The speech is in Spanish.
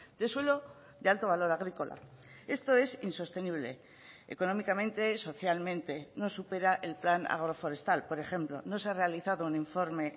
de suelo de alto valor agrícola esto es insostenible económicamente socialmente no supera el plan agroforestal por ejemplo no se ha realizado un informe